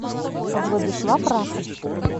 владислав расов